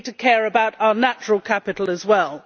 We need to care about our natural capital as well.